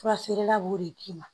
Fura feerela b'o de d'i ma